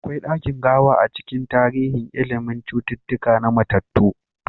Akwai dakin gawa a cikin tarihin ilimin cututtuka na mattatu.